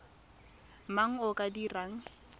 mang yo o ka dirang